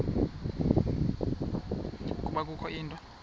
ukuba kukho into